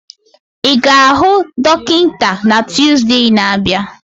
Ị ga-ahụ dọkịta na Tuusde na-abịa?